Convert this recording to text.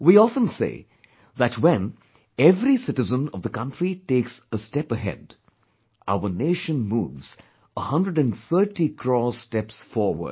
We often say that when every citizen of the country takes a step ahead, our nation moves 130 crore steps forward